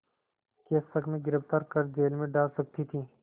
के शक में गिरफ़्तार कर जेल में डाल सकती थी